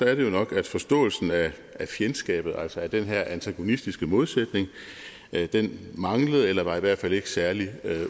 er det jo nok at forståelsen af fjendskabet altså af den her antagonistiske modsætning manglede eller var i hvert fald ikke særlig